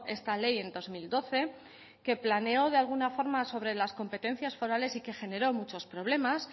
esta ley en dos mil doce que planeó de alguna forma sobre las competencias forales y que generó muchos problemas